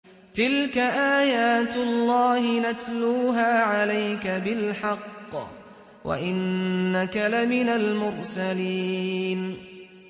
تِلْكَ آيَاتُ اللَّهِ نَتْلُوهَا عَلَيْكَ بِالْحَقِّ ۚ وَإِنَّكَ لَمِنَ الْمُرْسَلِينَ